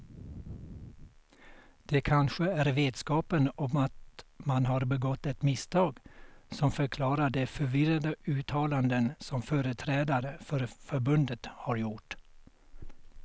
Det kanske är vetskapen om att man har begått ett misstag som förklarar de förvirrade uttalanden som företrädare för förbundet har gjort.